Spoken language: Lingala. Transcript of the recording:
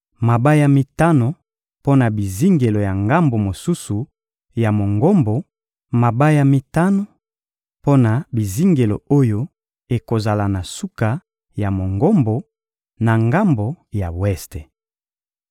mabaya mitano mpo na bizingelo ya ngambo mosusu ya Mongombo, mabaya mitano mpo na bizingelo oyo ekozala na suka ya Mongombo, na ngambo ya weste.